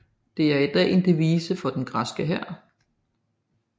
Det er i dag en devise for den græske hær